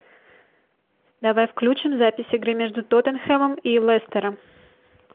давай включим запись игры между тоттенхэмом и лестером